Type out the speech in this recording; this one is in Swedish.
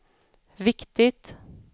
viktigt